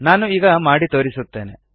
ನಾನು ಈಗ ಮಾಡಿ ತೋರಿಸುತ್ತೇನೆ